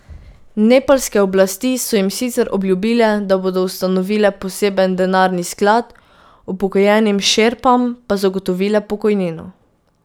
Nepalske oblasti so jim sicer obljubile, da bodo ustanovile poseben denarni sklad, upokojenim šerpam pa zagotovile pokojnino.